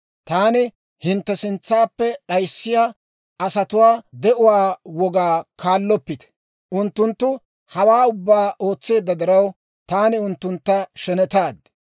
Taani hintte sintsaappe d'ayissiyaa asatuwaa de'uwaa wogaa kaalloppite. Unttunttu hawaa ubbaa ootseedda diraw, taani unttuntta shenetaad.